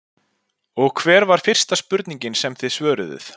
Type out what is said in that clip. Og hver var fyrsta spurningin sem þið svöruðuð?